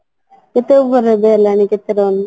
କେତେ over ରେ ଗଲାଣି କେତେ run ?